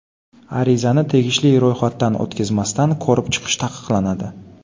Arizani tegishli ro‘yxatdan o‘tkazmasdan ko‘rib chiqish taqiqlanadi.